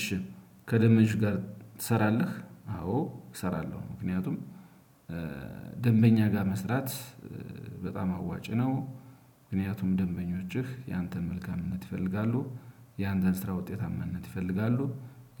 እሺ ከደበኞች ጋር ትሰራለህ? አዎ እሰራለሁ። ምክንያቱም ደንበኛ ጋር መስራት በጣም አዋጪ ነው። ምክንያቱም ደንበኞችህ ያንተን መልካምነት ይፈልጋሉ ያንተን ስራ ውጤታማነት ይፈልጋሉ።